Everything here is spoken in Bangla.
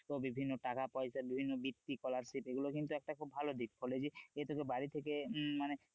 তো বিভিন্ন টাকা-পয়সা বিভিন্ন ভিত্তি scholarship এগুলো কিন্তু একটা খুব ভালো দিক college এ তোকে বাড়ি থেকে হম মানে,